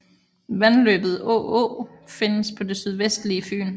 Vandløbet Å Å findes på det sydvestlige Fyn